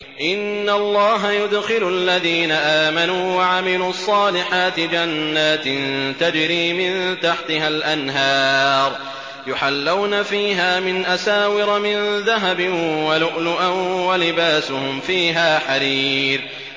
إِنَّ اللَّهَ يُدْخِلُ الَّذِينَ آمَنُوا وَعَمِلُوا الصَّالِحَاتِ جَنَّاتٍ تَجْرِي مِن تَحْتِهَا الْأَنْهَارُ يُحَلَّوْنَ فِيهَا مِنْ أَسَاوِرَ مِن ذَهَبٍ وَلُؤْلُؤًا ۖ وَلِبَاسُهُمْ فِيهَا حَرِيرٌ